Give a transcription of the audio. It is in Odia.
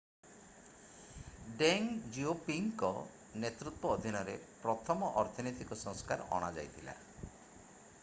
ଡେଙ୍ଗ ଜିଓପିଙ୍ଗଙ୍କ ନେତୃତ୍ୱ ଅଧିନରେ ପ୍ରଥମ ଅର୍ଥନୈତିକ ସଂସ୍କାର ଅଣାଯାଇଥିଲା